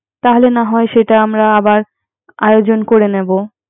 তাহলে না হয় সেটা আমার আয়োজন করে নিবো